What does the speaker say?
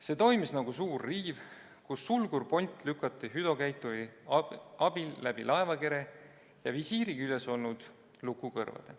See toimis nagu suur riiv, kus sulgurpolt lükati hüdrokäituri abil läbi laevakere ja visiiri küljes olnud lukukõrvade.